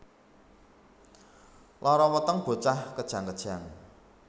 Lara weteng bocah kejang kejang